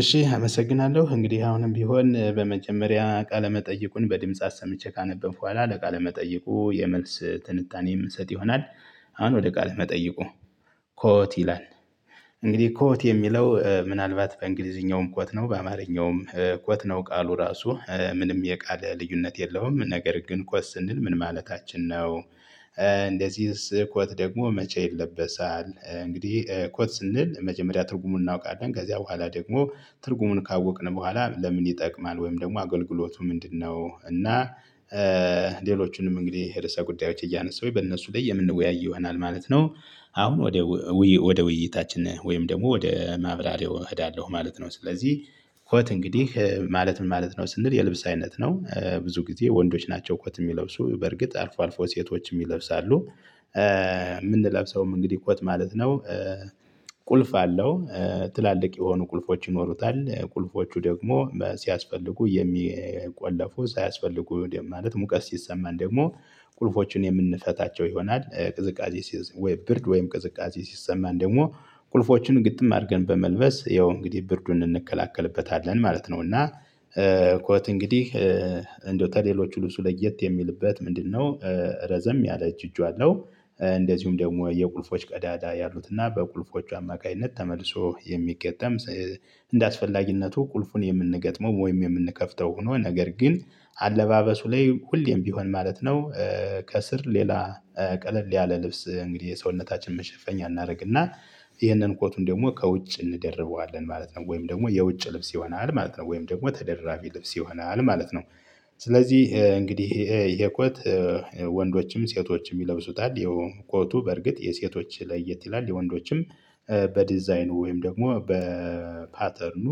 እሺ አመሰግናለሁ። እንግዲህ አሁንም ቢሆን በመጀመሪያ ቃለ መጠይቁን በድምጽ አሰምቼ ካነበብኩ በኋላ ለቃለ መጠይቁ የመልስ ትንታኔ የምንሰጥ ይሆናል። አሁን ወደ ቃለ መጠይቁ። ኮት ይላል እንግዲህ ኮት የሚለው ምናልባት በእንግሊዝኛውም ኮት ነው። በአማርኛውም ኮት ነው። ቃሉ ራሱ ምንም የቃል ልዩነት የለውም። ነገር ግን ኮት ስንል ምን ማለታችን ነው? እንደዚህስ ኮት ደግሞ መቼ ይለበሳል? እንግዲህ ኮት ስንል መጀመሪያ ትርጉሙን እናውቃለን። ከዚያ በኋላ ደግሞ ትርጉሙን ካወቅን በኋላ ለምን ይጠቅማል? ወይም ደግሞ አገልግሎቱ ምንድነው? እና ሌሎቹንም እንግዲህ ርዕሰ ጉዳዮች እያነሳሁ በእነሱ ላይ የምንወያይ ይሆናል ማለት ነው። አሁን ወደ ውይይታችን ወይም ደግሞ ወደ ማብራሪያው እህዳለሁ ማለት ነው። ስለዚህ ኮት እንግዲህ ማለት ምን ማለት ነው ስንል የልብስ አይነት ነው። ብዙ ጊዜ ወንዶች ናቸው ኮት የሚለብሱ። በርግጥ አልፎ አልፎ ሴቶችም ይለብሳሉ። የምንለብሰውም እንግዲህ እኮ ት ማለት ነው ቁልፍ አለው። ትላልቅ የሆኑ ቁልፎች ይኖሩታል። ቁልፎቹ ደግሞ ሲያስፈልጉ የሚቆለፉ ሳያስፈልጉ እንዴ ማለት ሙቀስ ሲሰማን ደግሞ ቁልፎችን የምንፈታቸው ይሆናል። ቅዝቃዜ ወይ ብርድ ወይም ቅዝቃዜ ሲሰማን ደግሞ ቁልፎችን ግጥም አድርገን በመልበስ ያው እንግዲህ ብርዱን እንከላከልበታለን ማለት ነው። እና ኮት እንግዲህ እንደው ተሌሎች ልብሱ ለየት የሚልበት ምንድነው ረዘም ያለ እጅ እጁ አለው። እንደዚሁም ደግሞ የቁልፎች ቀዳዳ ያሉትና በቁልፎቹ አማካኝነት ተመልሶ የሚገጠም እንደ አስፈላጊነቱ ቁልፉን የምንገጥመው ወይም የምንከፍተው ሆኖ ነገር ግን አለባበሱ ላይ ሁሌም ቢሆን ማለት ነው ከስር ሌላ ቀለል ያለ ልብስ እንግዲህ የሰውነታችን መሸፈኛ እናደርግና ይህንን ኮቱን ደግሞ ከውጭ እንደርበዋለን ማለት ነው። ወይም ደግሞ የውጭ ልብስ ይሆናል ማለት ነው። ወይም ደግሞ ተደራቢ ልብስ ይሆናል ማለት ነው። ስለዚህ እንግዲህ የኮት ወንዶችም፣ ሴቶችም ይለብሱታል። ያው ኮቱ በርግጥ የሴቶች ለየት ይላል። የወንዶችም በዲዛይኑ ወይም ደግሞ በፓተርኑ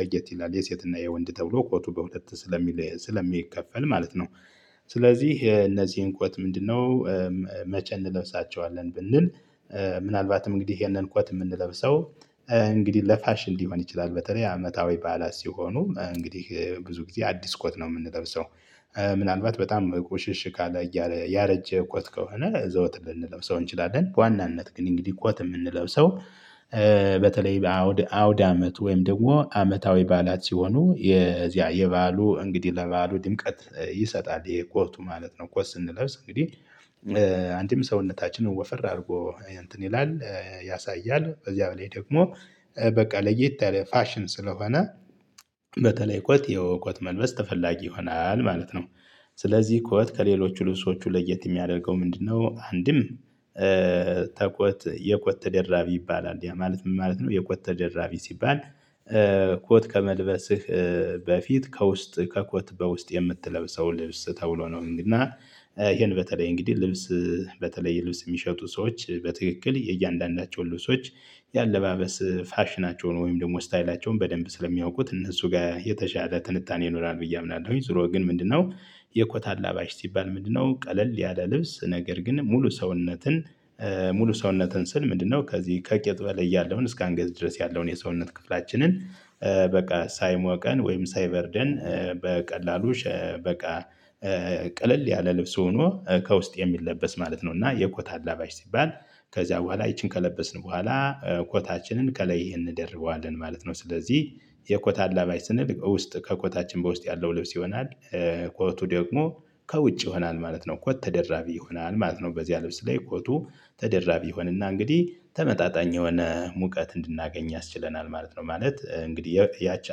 ለየት ይላል የሴትና የወንድ ተብሎ ኮቱ በሁለት ስለሚከፈል ማለት ነው። ስለዚህ የእነዚህን ኮት ምንድነው መቼ እንለብሳቸዋለን ብንል ምናልባትም እንግዲህ ይሄንን ኮት ምንለብሰው እንግዲህ ለፋሽን ሊሆን ይችላል። በተለይ አመታዊ ባዕላት ሲሆኑ። እንግዲህ ብዙ ጊዜ አዲስ ኮት ነው የምንለብሰው። ምናልባት በጣም ቁሽሽ ካለ፣ ያረጀ ኮት ከሆነ ዘውት ልንለብሰው እንችላለን። በዋናነት ግን እንግዲህ ኮት የምንለብሰው በተለይ በአውድ አውዳመት ወይም ደግሞ አመታዊ ባላት ሲሆኑ የዚያ የባሉ እንግዲህ ለባሉ ድምቀት ይሰጣል። ይሄ ኮቱ ማለት ነው። ኮት ስንለብስ እንግዲህ አንድም ሰውነታችንን ወፈር አድርጎ እንትን ይላል ያሳያል። በዚያ በላይ ደግሞ በቃ ለየት ያለ ፋሽን ስለሆነ በተለይ ኮት ያው ኮት መልበስ ተፈላጊ ይሆናል ማለት ነው። ስለዚህ ኮት ከሌሎች ልብሶቹ ለየት የሚያደርገው ምንድነው አንድም ተኮት የኮት ተደራቢ ይባላል። ያ ማለት ምን ማለት ነው የኮት ተደራቢ ሲባል ኮት ከመልበስህ በፊት ከውስጥ ከኮት በውስጥ የምትለብሰው ልብስ ተብሎ ነው እና ይሄን በተለይ እንግዲህ ልብስ በተለይ ልብስ የሚሸጡ ሰዎች በትክክል የእያንዳንዳቸውን ልብሶች የአለባበስ ፋሽናቸውን ወይም ደግሞ ስታይላቸውን በደንብ ስለሚያውቁት እነሱ ጋር የተሻለ ትንታኔ ይኖራል ብዬ አምናለሁኝ። ዙሮ ግን ምንድነው የኮታ አላባሽ ሲባል ምንድነው ቀለል ያለ ልብስ ነገር ግን ሙሉ ሰውነትን ሙሉ ሰውነትን ስል ምንድነው ከዚህ ከቂጥ በለይ ያለውን እስከ አንገት ድረስ ያለውን የሰውነት ክፍላችንን በቃ ሳይሞቀን ወይም ሳይበርደን በቀላሉ በቃ ቅልል ያለ ልብስ ሆኖ ከውስጥ የሚለበስ ማለት ነው። እና የኮታ አላባሺ ሲባል ከዚያ በኋላ ይቺን ከለበስን በኋላ ኮታችንን ከላይ እንደርበዋለን ማለት ነው። ስለዚህ የኮታ አላባሽ ስንል ውስጥ ከኮታችን በውስጥ ያለው ልብስ ይሆናል። ኮቱ ደግሞ ከውጭ ይሆናል ማለት ነው። ኮት ተደራቢ ይሆናል ማለት ነው። በዚህ ልብስ ላይ ኮቱ ተደራቢ ይሆንና እንግዲህ ተመጣጣኝ የሆነ ሙቀት እንድናገኝ ያስችለናል ማለት ነው። ማለት እንግዲህ ያቺ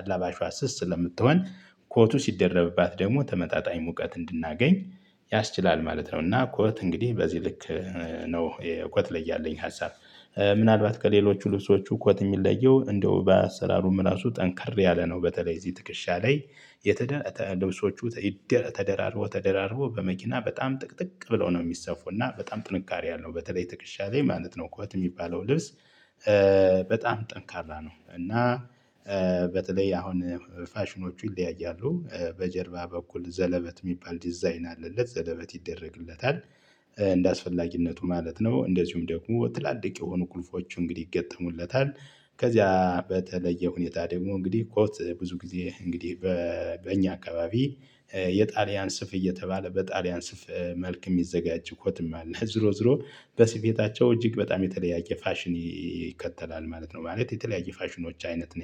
አላባሽዋ ስስ ስለምትሆን ኮቱ ሲደረብባት ደግሞ ተመጣጣኝ ሙቀት እንድናገኝ ያስችላል ማለት ነው። እና ኮት እንግዲህ በዚህ ልክ ነው ኮት ላይ ያለኝ ሀሳብ ምናልባት ከሌሎቹ ልብሶቹ ኮት የሚለየው እንደው በአሰራሩም ራሱ ጠንከር ያለ ነው። በተለይ እዚህ ትክሻ ላይ የተደለተ ልብሶቹ ተደራርቦ ተደራርቦ በመኪና በጣም ጥቅጥቅ ብለው ነው የሚሰፉና በጣም ጥንካሬ ያለው በተለይ ትክሻ ላይ ማለት ነው እኮ እህት የሚባለው ልብስ በጣም ጠንካራ ነው እና በተለይ አሁን ፋሽኖቹ ይለያያሉ። በጀርባ በኩል ዘለበት የሚባል ዲዛይን አለለት። ዘለበት ይደረግለታል። እንደአስፈላጊነቱ ማለት ነው። እንደዚሁም ደግሞ ትላልቅ የሆኑ ቁልፎቹ እንግዲህ ይገጠሙለታል። ከዚያ በተለየ ሁኔታ ደግሞ እንግዲህ ኮት ብዙ ጊዜ እንግዲህ በእኛ አካባቢ የጣሊያን ስፍ እየተባለ በጣሊያን ስፍ መልክ የሚዘጋጅ ኮትም አለ። ዝሮ ዝሮ በስፌታቸው እጅግ በጣም የተለያየ ፋሽን ይከተላል ማለት ነው። ማለት የተለያየ ፋሽኖች አይነት ነው